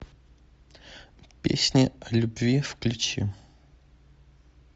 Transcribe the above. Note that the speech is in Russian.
песни о любви включи